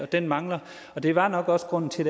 den mangler og det var nok også grunden til